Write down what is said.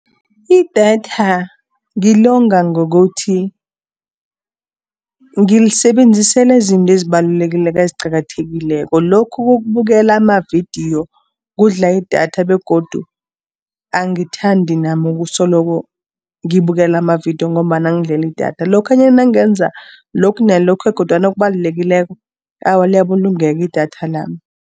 Idatha ngilonga ngokuthi ngilisebenzisela izinto eziqakathekileko, lokhu kokubukela amavidiyo kudla idatha begodu angithandi nami ukusoloko ngibukela amavidiyo, ngombana angidlela idatha. Lokhanyana nangenza lokhu, nalokhu, kodwana okubalulekileko, awa liyabulungeka idatha lami.